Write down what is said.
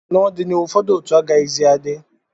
n'ọdịnihu, ụfọdụ otu agaghịzi adị